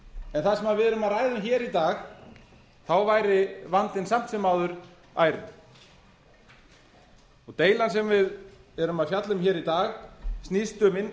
en það sem við erum að ræða um hér í dag væri vandinn samt sem áður ærinn deilan sem við erum að fjalla um hér í dag snýst um